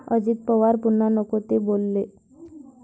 अजित पवार पुन्हा नको ते बोलले!